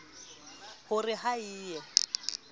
ho re ha e ye